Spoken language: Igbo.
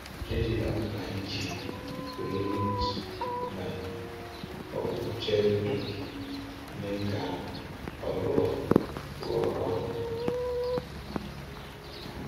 Ejila mkpa iji nwee root ma ọ bụ jailbreak mee ka ọ rụọ rụọ ọrụ.